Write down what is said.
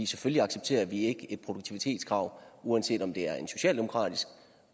selvfølgelig accepterer vi ikke et produktivitetskrav uanset om det er en socialdemokratisk